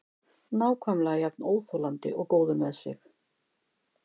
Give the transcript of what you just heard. Nákvæmlega jafn óþolandi og góður með sig.